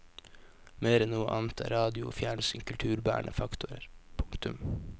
Mer enn noe annet er radio og fjernsyn kulturbærende faktorer. punktum